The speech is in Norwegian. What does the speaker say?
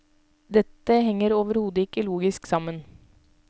Dette henger overhodet ikke logisk sammen.